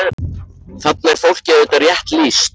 Þarna er fólki auðvitað rétt lýst.